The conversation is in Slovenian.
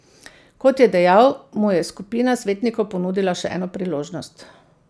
Kot je dejal, mu je skupina svetnikov ponudila še eno priložnost.